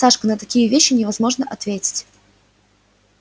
сашка на такие вещи невозможно ответить